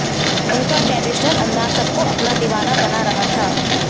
उनका ट्रेडिशनल अंदाज सबको अपना दीवाना बना रहा था